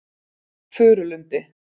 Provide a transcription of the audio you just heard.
Furulundi